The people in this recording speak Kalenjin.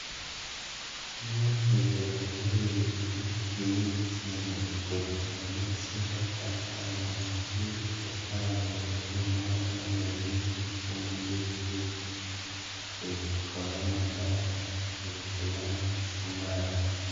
"Kimoche keyai melisiek che ichen kochamech, sikobagas mosiget en Lamu kotomo konam melisiek chemengechen koib koba Mombasa, Dar, Salala ak Somali.